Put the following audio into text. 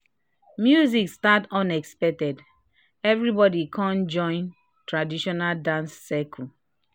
music start unexpected everybody kan join traditional dance circle."